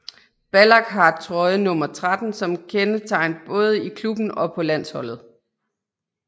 Ballack har trøjenummer 13 som kendetegn både i klubben og på landsholdet